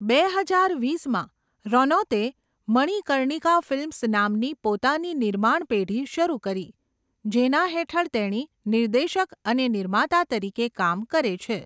બે હજાર વીસમાં, રનૌતે મણિકર્ણિકા ફિલ્મ્સ નામની પોતાની નિર્માણ પેઢી શરૂ કરી જેના હેઠળ તેણી નિર્દેશક અને નિર્માતા તરીકે કામ કરે છે.